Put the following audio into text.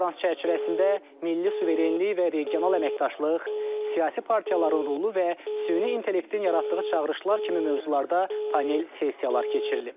Konfrans çərçivəsində milli suverenlik və regional əməkdaşlıq, siyasi partiyaların rolu və süni intellektin yaratdığı çağırışlar kimi mövzularda panel sessiyalar keçirilib.